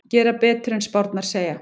Gera betur en spárnar segja